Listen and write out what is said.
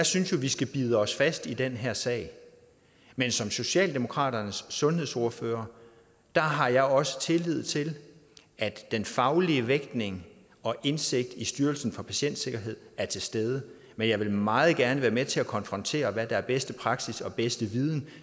synes at vi skal bide os fast i den her sag men som socialdemokratiets sundhedsordfører har jeg også tillid til at den faglige vægtning og indsigten i styrelsen for patientsikkerhed er til stede men jeg vil meget gerne være med til at konfrontere hvad der er bedste praksis og bedste viden